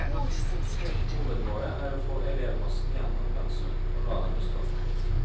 Hovedmålet er å få elevmassen igjennom pensum, og la dem bestå.